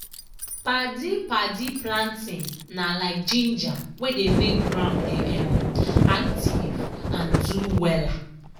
padi-padi planting na like ginger wey dey make ground dey um active and do wella.